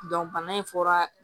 bana in fɔra